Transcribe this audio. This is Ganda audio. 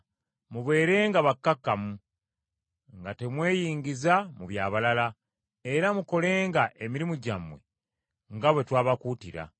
Mubeerenga bakkakkamu, nga temweyingiza mu by’abalala, era mukolenga emirimu gyammwe nga bwe twabakuutira,